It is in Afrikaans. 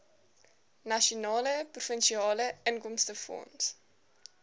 nasionale provinsiale inkomstefonds